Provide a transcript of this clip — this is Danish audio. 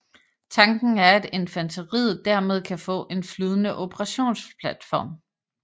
Tanken er at infanteriet dermed kan få en flydende operationsplatform